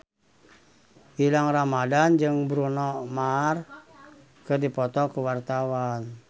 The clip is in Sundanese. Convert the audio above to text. Gilang Ramadan jeung Bruno Mars keur dipoto ku wartawan